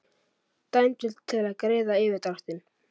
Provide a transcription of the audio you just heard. Dæmdur til að greiða yfirdráttinn